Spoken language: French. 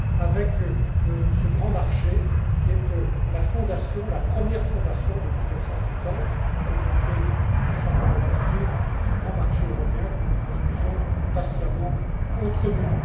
avec ce grand marché qui est la fondation, la première fondation depuis 1950, la Communauté du charbon et de l'acier, ce grand marché européen que nous construisons patiemment entre nous.